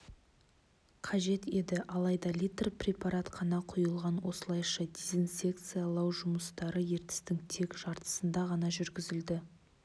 қажет еді алайда литр препарат қана құйылған осылайша дезинсекциялау жұмыстары ертістің тек жартысында ғана жүргізілді